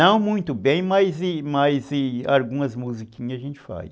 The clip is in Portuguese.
Não muito bem, mas mas mas algumas musiquinhas a gente faz.